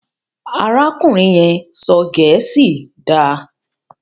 arákùnrin yén sọ gèésì dá.